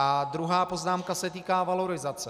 A druhá poznámka se týká valorizace.